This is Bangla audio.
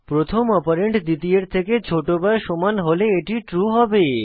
প্রথম অপারেন্ড দ্বিতীয়ের থেকে ছোট বা সমান হলে এটি ট্রু হবে